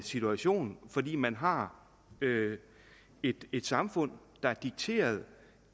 situation fordi man har et et samfund der er dikteret